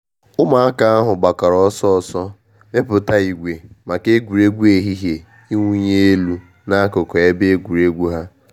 Ụmụaka ahụ gbakọrọ ọsọ ọsọ mepụta ìgwè maka egwuregwu ehihie iwunyi elu n'akụkụ ebe egwuregwu ha.